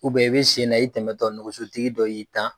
i bɛ sen na i tɛmɛ tɔ nɔgɔso tigi dɔ y'i tan.